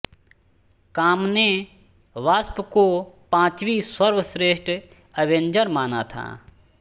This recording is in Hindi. कॉम ने वास्प को पांचवीं सर्वश्रेष्ठ अवेंजर माना था